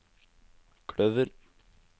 kløver